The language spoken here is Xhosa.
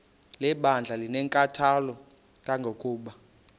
lebandla linenkathalo kangangokuba